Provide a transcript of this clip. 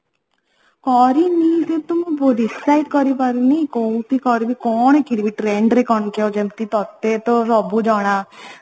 କରିନି ଯେହେତୁ ମୁଁ decide କରି ପାରୁନି କୋଉଠି କରିବି କଣ କିଣିବି trendରେ କଣ ଯେମିତି ତତେ ତ ସବୁ ଜଣା